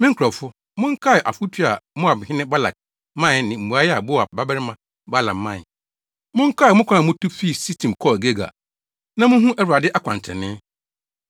Me nkurɔfo, monkae afotu a Moabhene Balak mae ne mmuae a Beor babarima Balaam mae. Monkae mo kwan a mutu fii Sitim kɔɔ Gilgal, na munhu Awurade akwantrenee.”